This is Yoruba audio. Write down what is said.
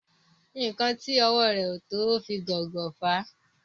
nkán tí owó rẹ o to o fi gón gò fà.